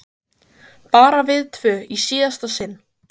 Bara við tvö í síðasta sinn.